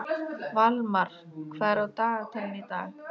Valmar, hvað er á dagatalinu í dag?